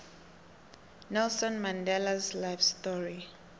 nelson mandelas life story